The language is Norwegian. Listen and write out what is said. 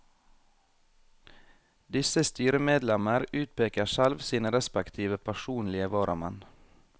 Disse styremedlemmer utpeker selv sine respektive personlige varamenn.